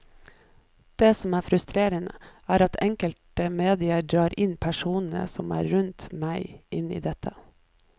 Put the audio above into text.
Det som er frustrerende, er at enkelte medier drar inn alle personene som er rundt meg inn i dette.